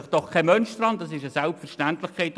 das ist doch eine Selbstverständlichkeit.